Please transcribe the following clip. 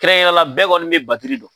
Kɛnrɛnkɛrɛnnenya la bɛɛ kɔni bɛ batiri dɔn.